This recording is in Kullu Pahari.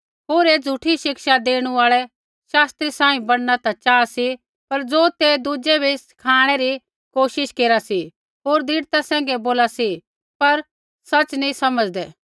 होर ऐ झ़ूठी शिक्षा देणु आल़ै शास्त्री सांही बणना ता चाहा सी पर ज़ो ते दुज़ै बै सिखाणै री कोशिश हो केरा सी होर दृढ़ता सैंघै बोला सी पर सच़ी न नैंई समझ़दै